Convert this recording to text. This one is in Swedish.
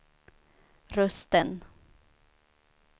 rösten